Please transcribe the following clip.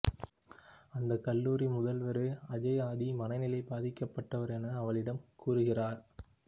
அந்த கல்லூரி முதல்வரோ அஜய் ஆதி மனநிலை பாதிக்கப்பட்டவர் என அவளிடம் கூறுகிறார்